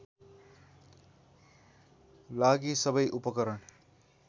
लागि सबै उपकरण